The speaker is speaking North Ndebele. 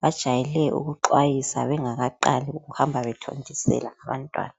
Bajwayele ukuxwayisa bengakaqalisi ukuhamba bethontisela abantwana.